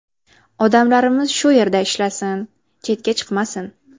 Odamlarimiz shu yerda ishlasin, chetga chiqmasin.